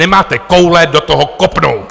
Nemáte koule do toho kopnout!